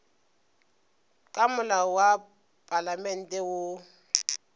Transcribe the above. ka molao wa palamente woo